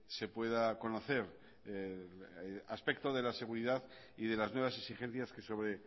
se pueda conocer el aspecto de la seguridad y de las nuevas exigencias que sobre